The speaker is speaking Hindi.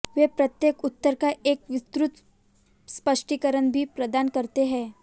वे प्रत्येक उत्तर का एक विस्तृत स्पष्टीकरण भी प्रदान करते हैं